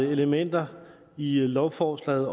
elementer i lovforslaget